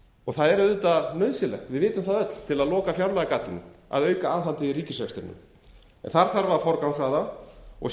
er mjög vel það er auðvitað nauðsynlegt við vitum það öll að auka aðhaldið í ríkisrekstrinum til að loka fjárlagagatinu þar þarf að forgangsraða og